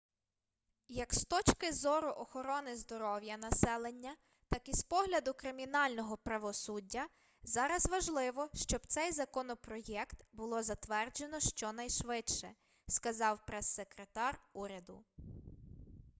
як з точки зору охорони здоров'я населення так і з погляду кримінального правосуддя зараз важливо щоб цей законопроєкт було затверджено щонайшвидше сказав прессекретар уряду